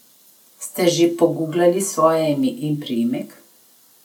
Ste že poguglali svoje ime in priimek?